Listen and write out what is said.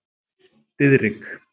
Diðrik